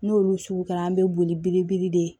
N'olu sugu kɛra an bɛ boli belebele de